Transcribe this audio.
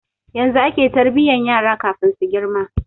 Yanzu ake tarbiyan yara kafin su girma